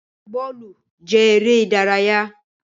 Gbígbaí bọ́ọ́lù jẹ èrè ìdárayá